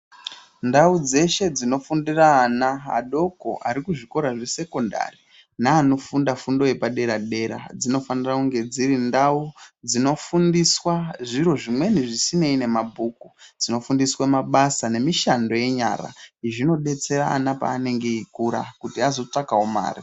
Ndau dzeshe dzinofundira ana adoko aripazvokora zvekusekendari naanofunda fundo yepadera dera dzinofanira kunge dziri ndau dzofundiswa zviro zvimweni zvisinei nemabhuku dzonofundisa ana mabasa nemushando wenyaraana zvinodetsera ana paanenge vekura kuti vazotsvakawo mari